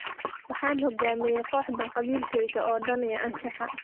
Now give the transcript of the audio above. Waxaan hoggaamiyey kooxdaan qalbigayga oo dhan iyo anshaxa.